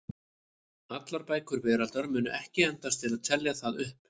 Allar bækur veraldar mundu ekki endast til að telja það upp.